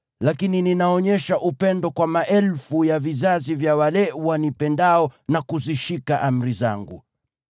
lakini ninaonyesha upendo kwa maelfu ya vizazi vya wale wanipendao na kuzishika amri zangu.